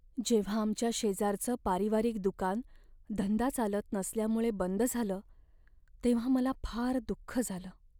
जेव्हा आमच्या शेजारचं पारिवारिक दुकान धंदा चालत नसल्यामुळे बंद झालं तेव्हा मला फार दुःख झालं.